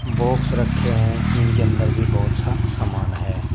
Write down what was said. Box रखे हैं इनके अंदर भी बहोत सा समान है।